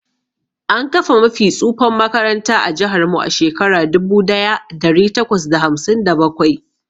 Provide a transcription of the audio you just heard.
An kafa mafi tsufan makaranta ã jihar mu a Shekara dubu daya dari takwas da hamsin da bakwai.